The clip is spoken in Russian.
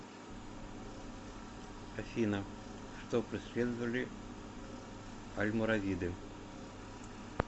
афина что преследовали альморавиды